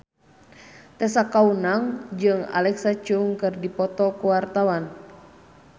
Tessa Kaunang jeung Alexa Chung keur dipoto ku wartawan